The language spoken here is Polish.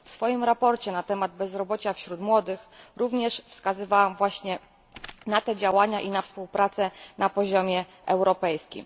W swoim sprawozdaniu na temat bezrobocia wśród młodych również wskazywałam właśnie na te działania i na współpracę na poziomie europejskim.